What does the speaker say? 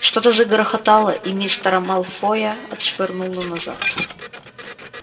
что-то загрохотало и мистера малфоя отшвырнуло назад